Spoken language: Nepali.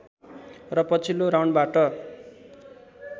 र पछिल्लो राउन्डबाट